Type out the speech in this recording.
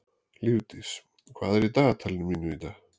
Lífdís, hvað er í dagatalinu mínu í dag?